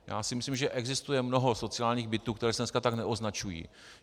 Já si myslím, že existuje mnoho sociálních bytů, které se dneska tak neoznačují.